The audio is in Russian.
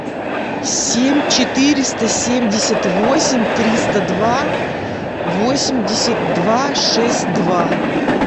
семь четыреста семьдесят восемь триста два восемьдесят два шесть два